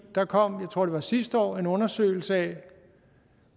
der kom jeg tror det var sidste år en undersøgelse af